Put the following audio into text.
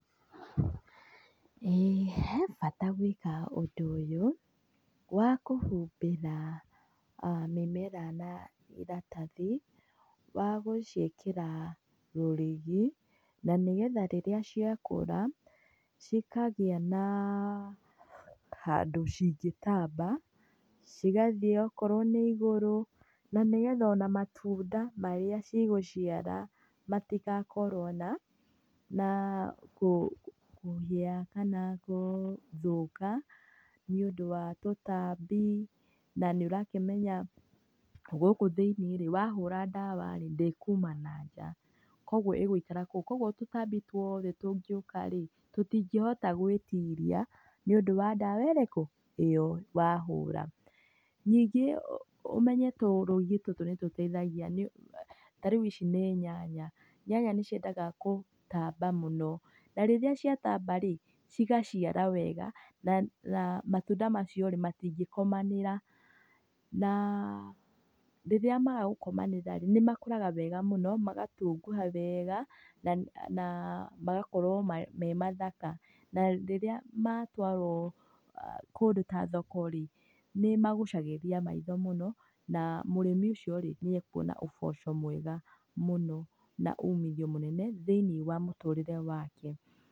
Ĩĩ he bata gwĩka ũndũ ũyũ wa kũhumbĩra mĩmera na ĩratathi wa gũciĩkĩra rũrigi na nĩgetha rĩrĩa ciakũra cikagĩa na handũ cingĩtamba cigathĩĩ ũkorwo nĩ igũrũ na nĩgetha ona matunda marĩa cigũciara matĩgakorwo na kũhĩa kana gũthũkia nĩ ũndũ wa tũtambi, na nĩ ũrakĩmenya gũkũ thĩiniĩ rĩ wahũra ndawa rĩ ndĩkuma na nja, koguo ĩgũikara kou. Koguo tũtambi tuothe tũngĩũka rĩ tũtingĩhota gwĩtiria nĩ ũndũ wa ndawa ĩrĩkũ ĩyo wahũra. Ningĩ ũmenye tũrũrigi tũtũ nĩ tũteithagia, tarĩu ici nĩ nyanya, nyanya nĩ ciendaga kũtamba mũno, na rĩrĩa cĩatamba rĩ cigaciara wega na matunda macio rĩ matingĩkomanĩra, na rĩrĩa maga gũkomanĩra rĩ nĩ makũraga wega mũno magatunguha wega na magakorwo memathaka, na rĩrĩa matwarwo kũndũ ta thoko rĩ nĩmagucagĩrĩria maitho mũno, na mũrĩmi ũcio rĩ nĩ ekuona ũboco mwega mũno na umithio mũnene thĩiniĩ wa mũtũrĩre wake.